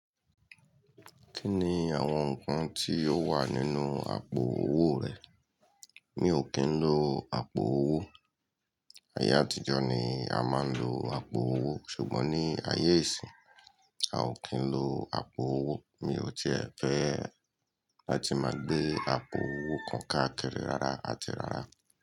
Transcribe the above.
Kí ni àwọn nǹkan tí ó wà nínú àpò owó rẹ? Mi ò kí ń lo àpò owó. Ayé àtijọ́ ni a máa ń lo àpò owó, ṣùgbọ́n ní ayé ìsín, a ò kí ń lo àpò owó. Mi ò tíì fẹ́ láti máa gbé àpò owó kan káàkiri rárá àti rárá.